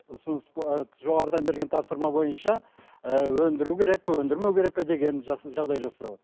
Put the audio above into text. ұсыныс жоғарыдан берген тапсырма бойынша ііі өндіру керек пе өндірмеу керек пе деген жағдай жасау